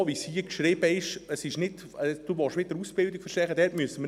So wie es hier geschrieben ist, wollen Sie die Ausbildung nicht verschärfen.